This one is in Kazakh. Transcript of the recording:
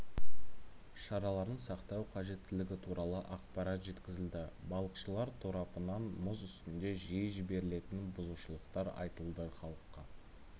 шараларын сақтау қажеттілігі туралы ақпарат жеткізілді балықшылар тарапынан мұз үстінде жиі жіберілетін бұзушылықтар айтылды халыққа